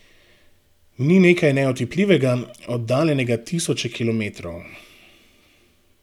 Ni nekaj neotipljivega, oddaljenega tisoče kilometrov.